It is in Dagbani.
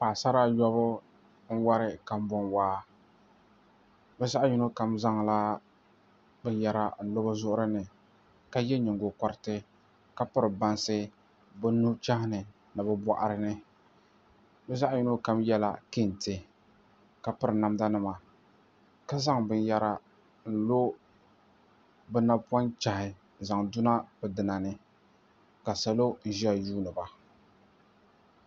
Paɣisara ayɔbu n-wari kambɔnwaa bɛ zaɣ’ yino kam zaŋla binyɛra n-lo bɛ zuɣuri ni ka ye nyiŋgokɔriti ka piri bansi bɛ nuchɛhi ni ni bɛ bɔɣiri ni bɛ zaɣ’ yino kam yɛla kɛnte ka piri namdanima ka zaŋ binyɛra n-lo bɛ napɔnchɛhi zaŋ duna bɛ duna ni ka salo n-ʒiya yuuni ba